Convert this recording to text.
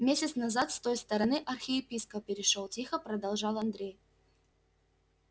месяц назад с той стороны архиепископ перешёл тихо продолжал андрей